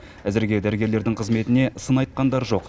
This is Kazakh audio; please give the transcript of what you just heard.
әзірге дәрігерлердің қызметіне сын айтқандар жоқ